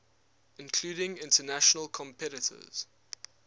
including international competitors